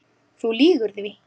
Þú lýgur því